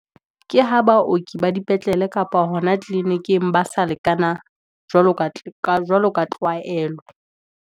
Ke ha baoki ba di petlele, kapa hona clinic-ing ba sa lekana, jwalo ka tlwaelo.